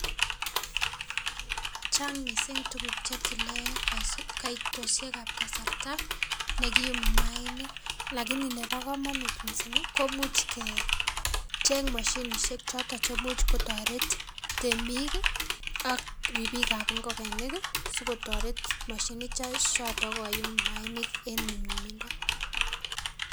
Chang mising tuguk chetile kaitoshekab kasarta nekiyumi maainik lakini nebo kamanut mising komuch kecheng mashinisiek choto chemuch kotoret temik ak ripikab ngokenik sikotoret mashinisiek choto koyum mayainik eng nyumnyumindo.